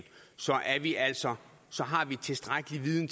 vi altså har tilstrækkelig viden